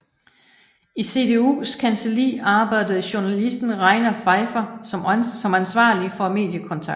I CDUs kancelli arbejdede journalisten Reiner Pfeiffer som ansvarlig for mediekontakt